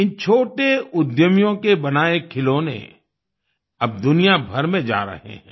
इन छोटे उद्यमियों के बनाए खिलौने अब दुनियाभर में जा रहे हैं